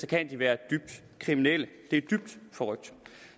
kan de være dybt kriminelle det er dybt forrykt